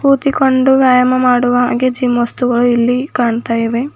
ಕೂತಿಕೊಂಡು ವ್ಯಾಯಾಮ ಮಾಡುವ ಹಾಗೆ ಜಿಮ್ ವಸ್ತುಗಳು ಎಲ್ಲಿ ಕಾಣ್ತಾ ಇವೆ.